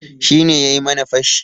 Shi ne yayi mana fashi.